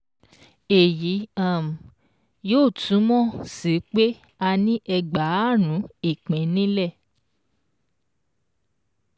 Èyí um yóò túmọ̀ sí pé, a ní Ẹgbààrún ìpín nílẹ̀